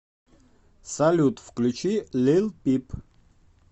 салют включи лил пип